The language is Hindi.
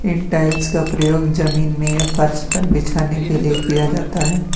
इन टाइल्स का प्रयोग जमीन में या फर्श पर बिछाने के लिए किया जाता है।